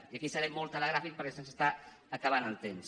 i aquí seré molt telegràfic perquè se’ns està acabant el temps